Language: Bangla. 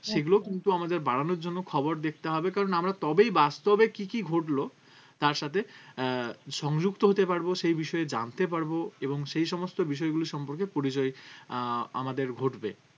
সেগুলোও কিন্তু আমাদের বাড়ানোর জন্য খবর দেখতে হবে কারণ আমরা তবেই বাস্তবে কি কি ঘটলো তার সাথে আহ সংযুক্ত হতে পারবো সেই বিষয়ে জানতে পারবো এবং সেই সমস্ত বিষয়গুলোর সম্পর্কে পরিচয় আহ আমাদের ঘটবে